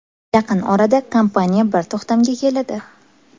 Yaqin orada kompaniya bir to‘xtamga keladi.